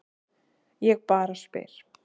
Ég bara spyr.